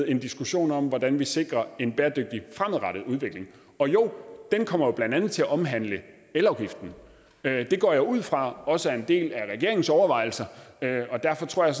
en diskussion om hvordan vi sikrer en bæredygtig fremadrettet udvikling og jo den kommer jo blandt andet til at omhandle elafgiften det går jeg ud fra også er en del af regeringens overvejelser og derfor tror jeg